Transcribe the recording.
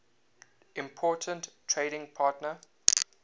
important trading partner